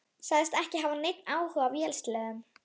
Sagðist ekki hafa neinn áhuga á vélsleðum.